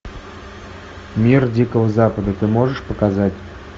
мир дикого запада ты можешь показать